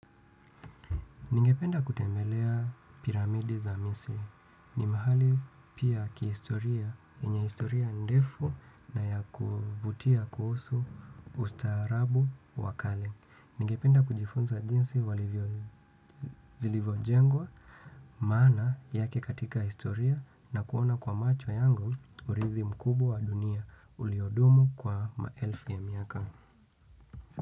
Ningependa kutembelea piramidi za misi. Ni mahali pia kihistoria, yenye historia ndefu na ya kuvutia kuhusu ustaarabu wakale. Ningependa kujifunza jinsi walivyo zilivo jengwa, maana yake katika historia na kuona kwa macho yangu uridhi mkubwa wa dunia uliodumu kwa maelfu ya miaka.